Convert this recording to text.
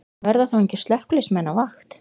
Verða þá engir slökkviliðsmenn á vakt?